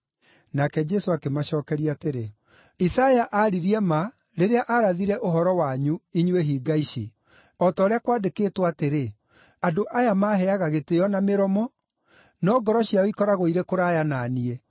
Nake Jesũ akĩmacookeria atĩrĩ, “Isaia aaririe ma rĩrĩa aarathire ũhoro wanyu, inyuĩ hinga ici; o ta ũrĩa kwandĩkĩtwo atĩrĩ: “ ‘Andũ aya maaheaga gĩtĩĩo na mĩromo, no ngoro ciao ikoragwo irĩ kũraya na niĩ.